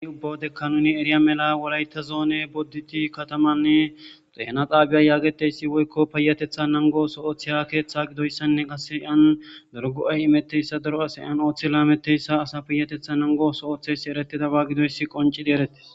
uni ubbawodekka nuni eriya mela wolayta zoone bodditi katamanne dehena xaabiya yaageteysi woykko payatetha nango so oththeha keeththe gidoyssanne qasse iyan dorgo7ay imetteyssa daro asa yan ooththi laametteyssa asa piyatetha nangoso ooththeysi eretidaba gidoyssi qoncidi eretes